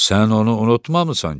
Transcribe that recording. Sən onu unutmamısan ki?